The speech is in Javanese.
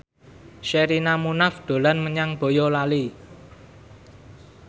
Sherina Munaf dolan menyang Boyolali